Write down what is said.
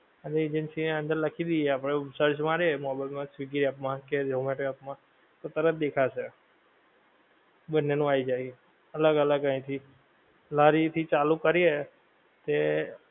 એટલે agency ની અંદર લખી દીયે આપડે એવું search મારે mobile માં swiggy app માં કે zomato app માં તો તરત દેખાશે બંને નું આઈ જાએ એ અલગ અલગ અઈ થી લારી થી ચાલુ કરીયે તે